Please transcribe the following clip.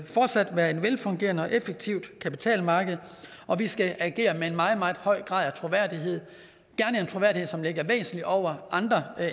fortsat være et velfungerende og effektivt kapitalmarked og vi skal agere med en meget meget høj grad af troværdighed som ligger væsentlig over andre